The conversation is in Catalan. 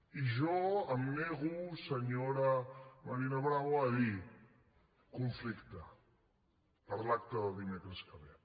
i jo em nego senyora marina bravo a dir conflicte per l’acte de dimecres que ve